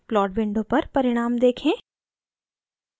plot window पर परिणाम देखें